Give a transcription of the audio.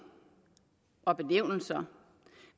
og benævnelser